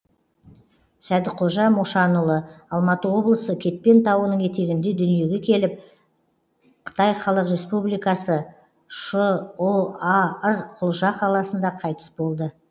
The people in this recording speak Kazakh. сәдіқожа мошанұлы алматы облысы кетпен тауының етегінде дүниеге келіп қытай халық республикасы шұар құлжа қаласында қайтыс болды